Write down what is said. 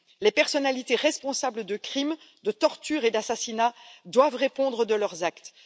Les personnalités responsables de crimes, de tortures et d'assassinats doivent répondre de leurs actes.